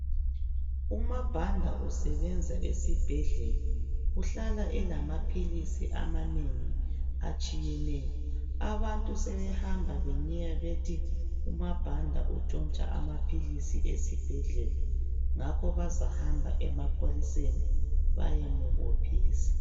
UMaBanda usebenza esibhedlela. Uhlala elamaphilisi amanengi atshiyeneyo. Abantu sebehamba benyeya bethi uMaBanda utshontsha amaphilisi esibhedlela ngakho bazahamba emapholiseni bayemubophisa.